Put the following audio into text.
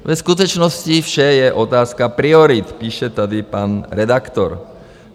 Ve skutečnosti vše je otázka priorit, píše tady pan redaktor.